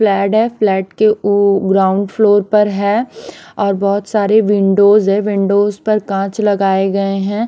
Fled हैं flat के उ ग्राउंड फ्लोर पर हैं और बहोत सारे विंडोज हे विंडोज पर काच लगाये गये हैं।